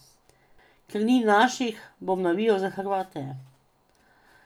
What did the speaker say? Ker ni naših, bom navijal za Hrvate.